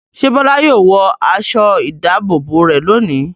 Ṣé Bọ́lá yóò wọ aṣọ-ìdáàbòbò rẹ̀ lónìí?